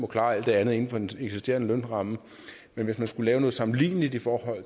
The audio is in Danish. klare alt det andet inden for den eksisterende lønramme men hvis man skulle lave noget sammenligneligt i forhold